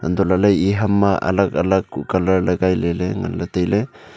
natohlahley e ham ma alag alag kuh colour lagai leley nganla tailey.